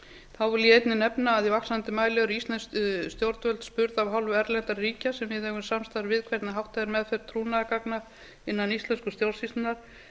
þá vil ég einnig nefna að í vaxandi mæli eru íslensk stjórnvöld spurð af hálfu erlendra ríkja sem við eigum samstarf við hvernig háttað er meðferð trúnaðargagna innan íslensku stjórnsýslunnar